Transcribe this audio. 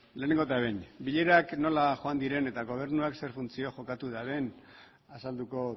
lehenengo eta behin bilerak nola joan diren eta gobernuak zein funtzio jokatu duen azalduko